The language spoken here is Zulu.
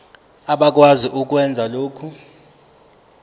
abakwazi ukwenza lokhu